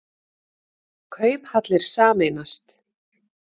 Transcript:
Kauphallir sameinast